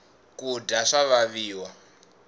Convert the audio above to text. kudya swa vaviwa